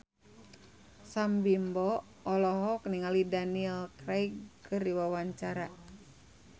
Sam Bimbo olohok ningali Daniel Craig keur diwawancara